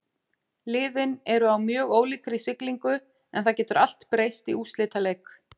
Liðin eru á mjög ólíkri siglingu en það getur allt breyst í úrslitaleik.